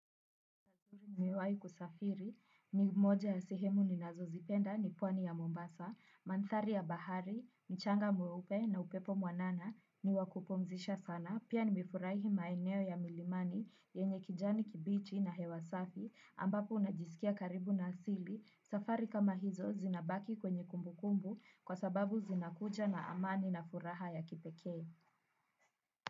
Nimewahi kusafiri, ni moja ya sehemu ninazozipenda ni pwani ya Mombasa, mandhari ya bahari, mchanga mweupe na upepo mwanana ni wa kupumzisha sana, pia nimefurahi maeneo ya milimani, yenye kijani kibichi na hewa safi, ambapo unajisikia karibu na asili, safari kama hizo zinabaki kwenye kumbukumbu, kwa sababu zinakuja na amani na furaha ya kipekee.